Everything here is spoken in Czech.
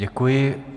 Děkuji.